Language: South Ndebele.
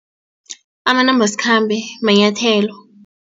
Amanambasikhambe manyathelo.